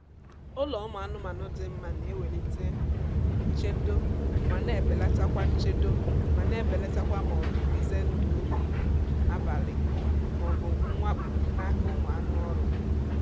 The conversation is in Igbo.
ụlọ ụmụ anụmanụ dị mma na-ewelite um nchedo ma na-ebelatakwa nchedo ma na-ebelatakwa maọbụ ize ndụ ohi abalị maọbu mwakpo n'aka ụmụ anụ oru